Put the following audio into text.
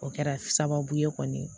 O kɛra sababu ye kɔni